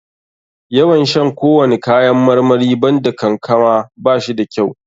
Yawan shan kowani kayan marmari banda kankama ba shi da kyau.